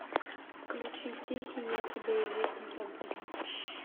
включи тихий я тебя и век не забуду